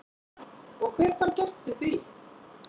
Og hver fær gert við því?